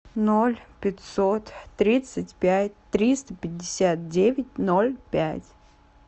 ноль пятьсот тридцать пять триста пятьдесят девять ноль пять